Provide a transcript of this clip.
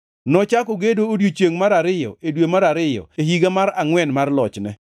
Nochako gedo odiechiengʼ mar ariyo e dwe mar ariyo e higa mar angʼwen mar lochne.